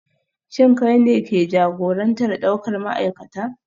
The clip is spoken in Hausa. Shin kai ne ke jagorantar daukar ma'aikata?